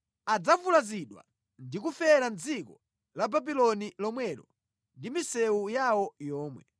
Adzavulazidwa ndi kufera mʼdziko la Babuloni lomwelo ndi mʼmisewu yawo yomwe.